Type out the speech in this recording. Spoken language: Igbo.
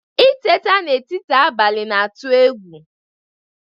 Itete n'etiti abalị na-atụ egwu